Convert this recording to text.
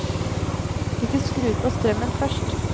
Hvis de skrur på strømmen først.